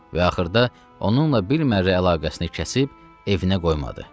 Və axırda onunla bir mərrə əlaqəsini kəsib evinə qoymadı.